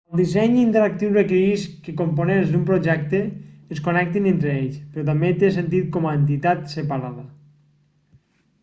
el disseny interactiu requereix que components d'un projecte es connectin entre ells però també té sentit com a entitat separada